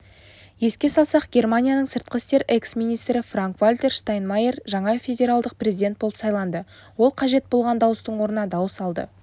еске салсақ германияның сыртқы істер экс-министрі франк-вальтер штайнмайер жаңа федеральдық президент болып сайланды ол қажет болған дауыстың орнына дауыс алды